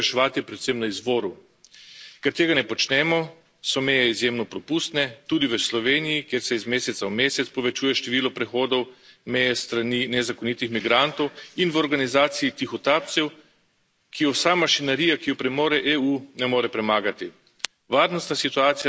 Problem migracij se mora reševati predvsem na izvoru, ker tega ne počnemo, so meje izjemno propustne, tudi v Sloveniji, kjer se iz meseca v mesec povečuje število prehodov meje s strani nezakonitih migrantov in v organizaciji tihotapcev, ki jo vsa mašinerija, ki jo premore EU, ne more premagati.